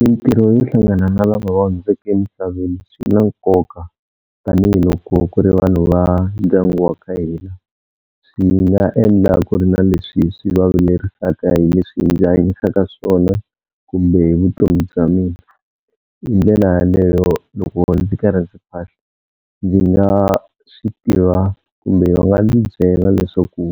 Mintirho yo hlangana na lava va hundzeke emisaveni swi na nkoka tanihiloko ku ri vanhu va ndyangu wa ka hina swi nga endla ku ri na leswi swi va vilerisaka hi leswi ndzi hanyisaka swona kumbe hi vutomi bya mina. Hi ndlela yaleyo loko ndzi karhi ndzi phahla ndzi nga swi tiva kumbe va nga ndzi byela leswaku